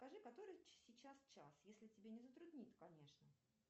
скажи который сейчас час если тебя не затруднит конечно